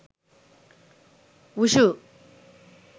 wushu